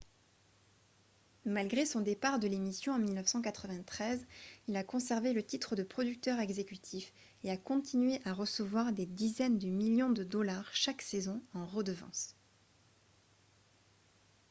malgré son départ de l'émission en 1993 il a conservé le titre de producteur exécutif et a continué à recevoir des dizaines de millions de dollars chaque saison en redevances